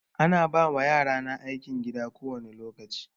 Ana ba yarana aikin gida kowani lokaci.